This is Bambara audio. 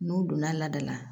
N'u donna laada la